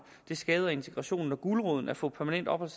det skader integrationen når guleroden at få permanent ophold